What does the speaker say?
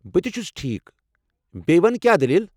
بہٕ تہِ چھُس ٹھیٖک۔ بییٚہِ وَن کیٚا دٔلیٖلہ؟